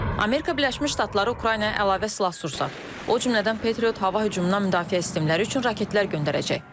Amerika Birləşmiş Ştatları Ukraynaya əlavə silah-sursat, o cümlədən Patriot hava hücumundan müdafiə sistemləri üçün raketlər göndərəcək.